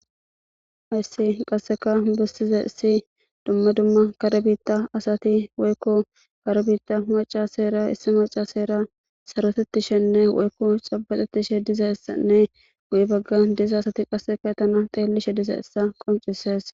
ayssi qasseka bessize issi dumma dumma karebiitta asati woykko karebiitta maca seera issi maca seera sarotettishenne woykko xabaxettishe diza essanne guyi bagga diza asati qasseka tana xeellishe diza issa qoncises